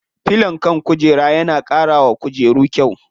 Filon kan kujera na ƙara wa kujeru kyau.